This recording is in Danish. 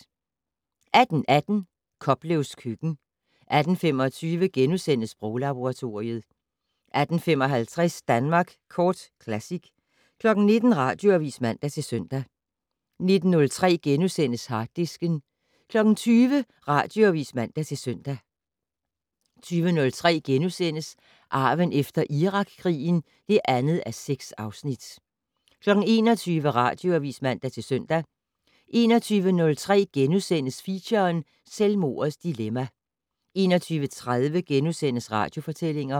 18:18: Koplevs køkken 18:25: Sproglaboratoriet * 18:55: Danmark Kort Classic 19:00: Radioavis (man-søn) 19:03: Harddisken * 20:00: Radioavis (man-søn) 20:03: Arven efter Irakkrigen (2:6)* 21:00: Radioavis (man-søn) 21:03: Feature: Selvmordets dilemma * 21:30: Radiofortællinger *